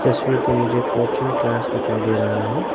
तस्वीर पर मुझे कोचिंग क्लास दिखाई दे रहा है।